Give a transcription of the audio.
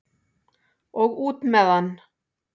Og út með hann!